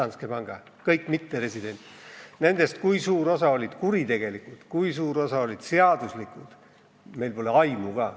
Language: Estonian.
Sellest, kui suur osa nendest maksetest olid kuritegelikud ja kui suur osa olid seaduslikud, pole meil aimu ka.